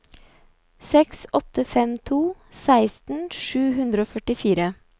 seks åtte fem to seksten sju hundre og førtifire